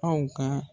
Aw ka